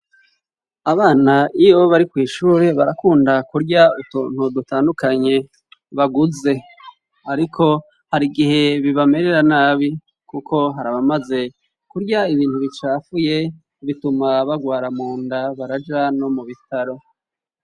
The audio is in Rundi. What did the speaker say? Abana iyo bari kw'ishure, barakunda kurya utuntu dutandukanye baguze . Ariko hari igihe bibamerera nabi kuko harabamaze kurya ibintu bicafuye bituma bagwara munda baraja no mu bitaro.